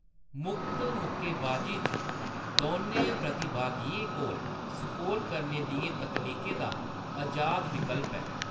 मुक्त मुक्केबाज़ी च, दोनें प्रतिभागियें कोल स्कोर करने दियें तकनीकें दा अजाद विकल्प ऐ।